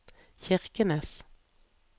Kirkenes